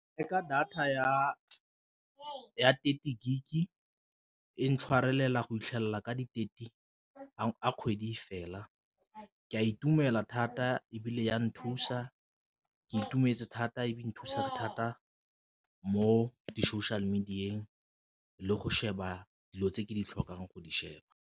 Ee, ke reka data ya thirty gig e ntshwarela go itlhelela ka di-thirty fa kgwedi fela, ke a itumela thata ebile ya nthusa ke itumetse thata e be nthusa thata mo di-social media-eng le go sheba dilo tse ke di tlhokang go di sheba.